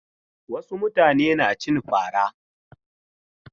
Wasu mutane na cin fara.